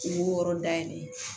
U b'o yɔrɔ dayɛlɛ